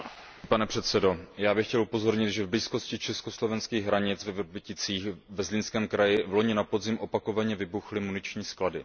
Pane předsedající, já bych chtěl upozornit, že v blízkosti česko slovenských hranic ve Vrběticích ve Zlínském kraji loni na podzim opakovaně vybuchly muniční sklady.